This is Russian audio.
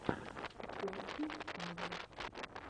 костя павлов